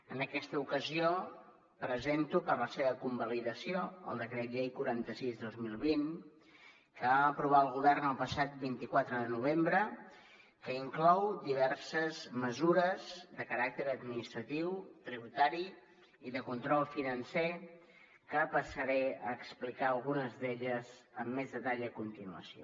en aquesta ocasió presento per a la seva convalidació el decret llei quaranta sis dos mil vint que vam aprovar el govern el passat vint quatre de novembre que inclou diverses mesures de caràcter administratiu tributari i de control financer que passaré a explicar algunes d’elles amb més detall a continuació